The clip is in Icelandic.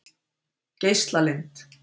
Geislalind